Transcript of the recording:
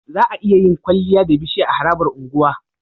Za'a iya yin kwaliya da bishiya a harabar unguwa